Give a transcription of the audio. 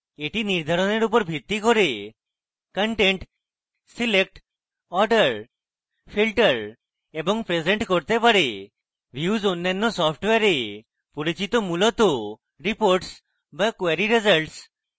এটি নির্ধারণের উপর ভিত্তি করে contents select order filter এবং present করতে পারে views অন্যান্য সফ্টওয়্যারে পরিচিত মূলত reports বা query results